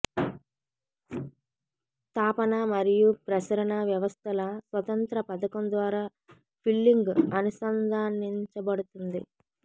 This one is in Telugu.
తాపన మరియు ప్రసరణ వ్యవస్థల స్వతంత్ర పథకం ద్వారా ఫిల్లింగ్ అనుసంధానించబడుతుంది